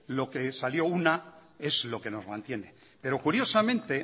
lo que salió una es lo que nos mantiene pero curiosamente